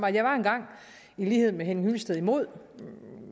jeg var engang i lighed med herre henning hyllested imod